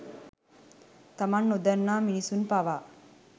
තමන් නොදන්නා මිනිසුන් පවා